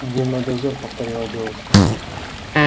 дневной дозор повторила девушка